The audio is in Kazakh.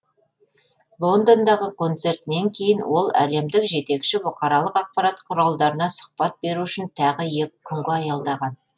лондондағы концертінен кейін ол әлемдік жетекші бұқаралық ақпарат құралдарына сұқбат беру үшін тағы екі күнге аялдаған